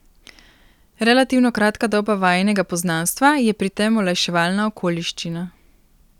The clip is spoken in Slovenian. Relativno kratka doba vajinega poznanstva je pri tem olajševalna okoliščina.